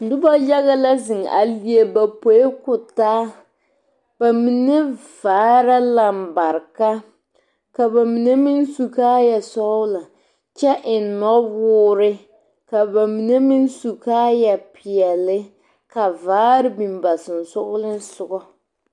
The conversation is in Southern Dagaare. Noba yaga la zeŋ a leɛ ba poe ko taa ba mine vaare la lambareka ka ba mine meŋ su kaaya sɔglɔ kyɛ eŋ nɔwoore ka ba mine meŋ su kaaaya peɛle ka vaare biŋ ba sensoglensogaŋ.